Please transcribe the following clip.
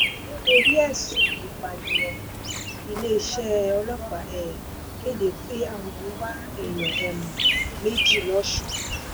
nítorí ẹ̀sùn ìpànìyàn iléeṣẹ́ ọlọ́pàá um kéde pé àwọn ń wá èèyàn um méjì lọ́sùn